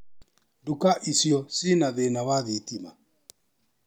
Duka icio cina thĩna wa thitima.